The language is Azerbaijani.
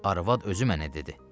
Arvad özü mənə dedi.